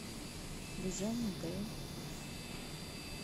цзяньдэ